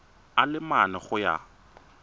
a le mane go ya